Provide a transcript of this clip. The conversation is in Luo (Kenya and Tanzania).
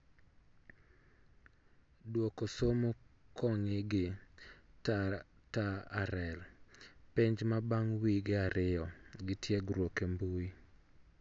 Duoko somo kong'ii gi TaRL, penj ma bang' wige ariyo gi tiegruok e mbui